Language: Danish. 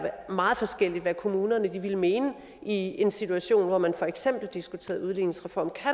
meget forskelligt hvad kommunerne ville mene i en situation hvor man for eksempel diskuterede udligningsreformen